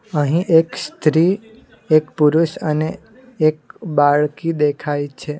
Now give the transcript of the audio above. અહીં એક સ્ત્રી એક પુરુષ અને એક બાળકી દેખાય છે.